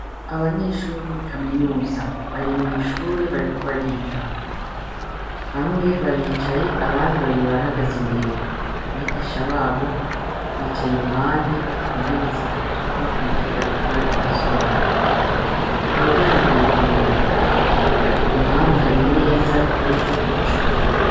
Abanyeshuri bo muri kamunuza bari mw'ishuri bariko bariga bamwe baricaye abandi babiri barahagaze imbere abigisha babo bicaye iruhande ku ntebe zitatu bakurikira ivyo bariko barasobanukirwa umuryango uruguruye impande hari imeza iteretseko icupa.